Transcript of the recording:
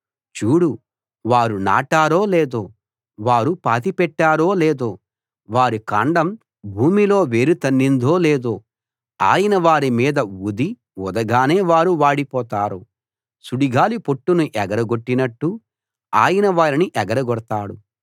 చూడు వారు నాటారో లేదో వారు పాతిపెట్టారో లేదో వారి కాండం భూమిలో వేరు తన్నిందో లేదో ఆయన వారి మీద ఊదీ ఊదగానే వారు వాడిపోతారు సుడిగాలి పొట్టును ఎగర గొట్టినట్టు ఆయన వారిని ఎగరగొడతాడు